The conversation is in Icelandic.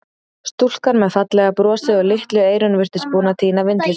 Stúlkan með fallega brosið og litlu eyrun virtist búin að týna vindli sínum.